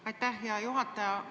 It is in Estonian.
Aitäh, hea juhataja!